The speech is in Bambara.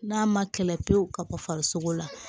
N'a ma kɛlɛ pewu ka bɔ farisogo la